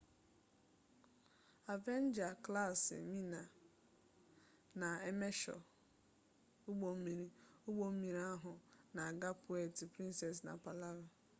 avenger class mine na emesho ugbommiri ugbommiri ahu n'aga puerto princessa na palawan